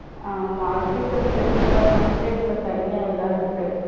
ஆமா agriculture department ஏ இப்ப தனியா எல்லாம் இருக்கு.